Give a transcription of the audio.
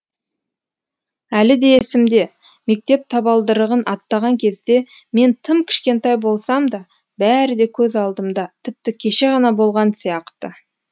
әлі де есімде мектеп табалдырығын аттаған кезде мен тым кішкентай болсам да бәрі де көз алдымда тіпті кеше ғана болған сияқты